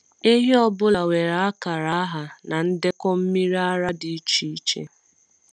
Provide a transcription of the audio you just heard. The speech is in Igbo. Ehi ọ bụla nwere akara aha na ndekọ mmiri ara dị iche iche.